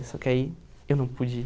Só que aí eu não pude ir.